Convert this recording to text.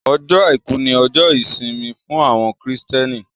Ọjọ́ Àìkú ni ọjọ́ ìjọsìn fún àwọn Kristẹni